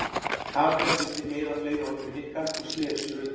Kamilla vildi ekki eyða fleiri orðum í Nikka og snéri sér undan.